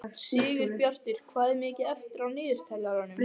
Sigurbjartur, hvað er mikið eftir af niðurteljaranum?